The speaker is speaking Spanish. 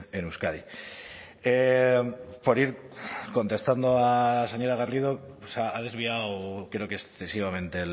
en euskadi por ir contestando a la señora garrido o sea ha desviado creo que excesivamente